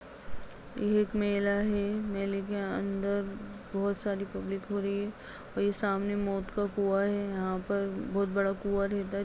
यह एक मेला है मेले के अंदर बहुत सारी पब्लिक खड़ी है और ये सामने मौत का कुआं है यहाँ पर बहुत बड़ा कुआं रहता है--